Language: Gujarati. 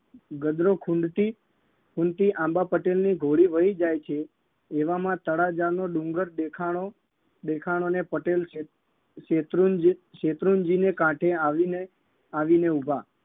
ગદરો ખૂંદતી ખૂંદતી આંબા પટેલની ઘોડી વહી જાય છે એવામાં તળાજાનો ડુંગર દેખાણો દેખાણો ને પટેલ શેત શેત્રુંજી શેત્રુંજીને કાંઠે આવીને આવીને ઉભા